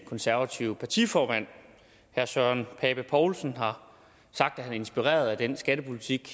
konservative partiformand herre søren pape poulsen har sagt at han er inspireret af den skattepolitik